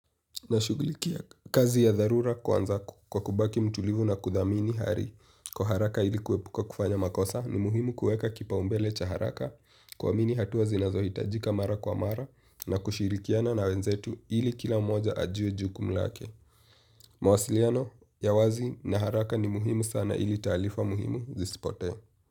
Nashughulikia kazi ya dharura kwanza kwa kubaki mtulivu na kudhamini hari kwa haraka ili kuepuka kufanya makosa ni muhimu kueka kipaumbele cha haraka kuamini hatua zinazohitajika mara kwa mara na kushirikiana na wenzetu ili kila mmoja ajue jukumu lake. Mawasiliano ya wazi na haraka ni muhimu sana ili taarifa muhimu zisipotee.